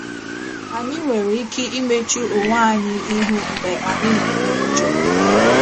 Anyị nwere ike imechu onwe anyị ihu mgbe anyị na-eme njọ